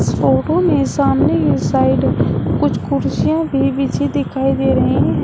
Photo में सामने की साइड कुछ कुर्सियां भी बिछी दिखाई दे रही हैं।